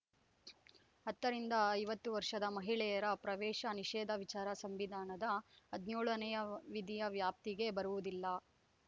ಹತ್ತರಿಂದ ಐವತ್ತು ವರ್ಷದ ಮಹಿಳೆಯರ ಪ್ರವೇಶ ನಿಷೇದ ವಿಚಾರ ಸಂವಿಧಾನದ ಹದಿನೇಳನೇ ವಿಧಿಯ ವ್ಯಾಪ್ತಿಗೆ ಬರುವುದಿಲ್ಲ